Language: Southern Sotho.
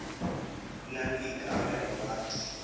e na le boikarabelo ba